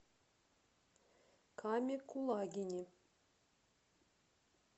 каме кулагине